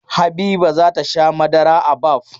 Habiba za ta sha madara a Baff.